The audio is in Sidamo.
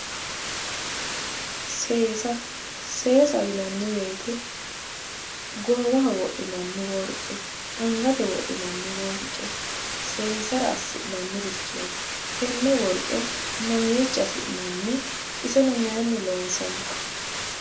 seesa seesaho yinanni wote goowaho wodhinanni worqe angate wodhinanni worqe seensara assi'nannirichooti tenne worqe mamiicho afi'nanni? iseno mayiinni loonsanni?